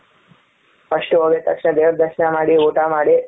first ಹೋಗಿದ್ ತಕ್ಷಣ ದೇವರ ದರ್ಶನ ಮಾಡಿ ಊಟ ಮಾಡಿ,